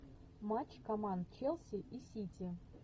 матч команд челси и сити